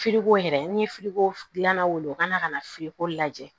yɛrɛ n'i ye dilanna wele u ka na ka na ko lajɛ